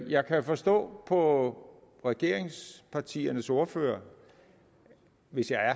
jeg kan forstå på regeringspartiernes ordførere